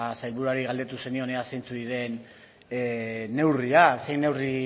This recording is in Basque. sailburuari galdetu zenionean zeintzuk diren neurriak zein neurri